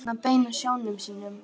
Hvert á hann að beina sjónum sínum?